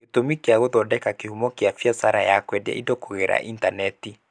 Gĩtũmi gĩa gũthondeka kĩhumo kĩa biacara ya kwendia indo kũgerera intaneti.